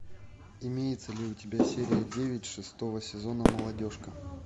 имеется ли у тебя серия девять шестого сезона молодежка